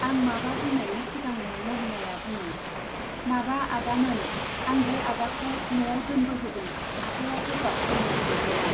आं माबा बुंनायनि सिगांनो मलिनाया बुङो, माबा आदामोन, आं बे आदाखौ न'आव दोनबोहोदों, आफाया गोब्राबथारनो जब्राया।